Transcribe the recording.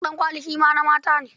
Ɗankwali shi ma na mata ne.